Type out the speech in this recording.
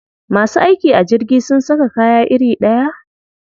Masu aiki a jirgi sun saka kaya iri ɗaya?